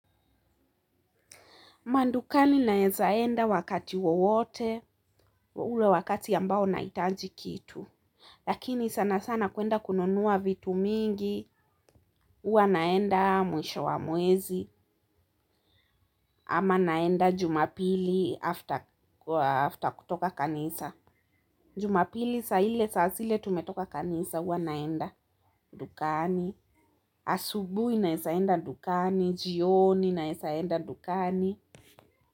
Mandukani naezaenda wakati wowote, ule wakati ambao naitaji kitu lakini sana sana kuenda kununuwa vitu mingi, uwa naenda mwisho wa mwezi ama naenda Jumapili after kutoka kanisa Jumapili saa ile saa zile tumetoka kanisa uwa naenda dukani asubui naeza enda dukani, jioni naeza enda dukani.